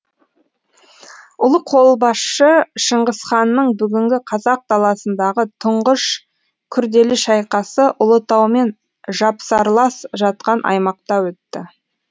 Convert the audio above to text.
ұлы қолбасшы шыңғысханның бүгінгі қазақ даласындағы түңғыш күрделі шайқасы ұлытаумен жапсарлас жатқан аймақта өтті